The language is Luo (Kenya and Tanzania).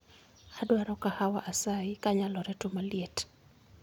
Adwaro kahawa asayi kanyalore to maliet